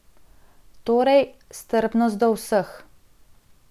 Torej, strpnost do vseh.